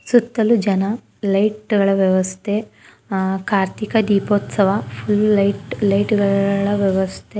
ಸುತ್ತಲೂ ಜನ ಲೈಟಗಳ ವ್ಯವಸ್ಥೆ ಆ ಕಾರ್ತೀಕ ದೀಪೋದ್ಸವ ಫುಲ್ ಲೈಟ್ ಲೈಟಗಳ ವ್ಯವಸ್ಥೆ --